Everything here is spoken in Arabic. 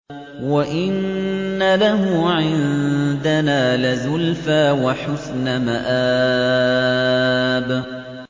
وَإِنَّ لَهُ عِندَنَا لَزُلْفَىٰ وَحُسْنَ مَآبٍ